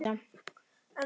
Svo var gert stutt hlé.